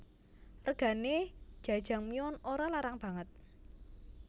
Regane Jajangmyeon ora larang banget